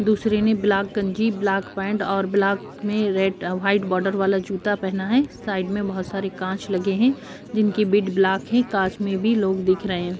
दूसरे ने ब्लाक गंजी ब्लाक पैंट और ब्लाक में रेड अ व्हाइट बॉर्डर वाला जूता पहना है। साइड में बोहोत सारे काँच लगे हैं जिनकी बिड ब्लाक है। काँच में भी लोग दिख रहे हैं।